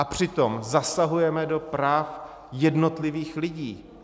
A přitom zasahujeme do práv jednotlivých lidí.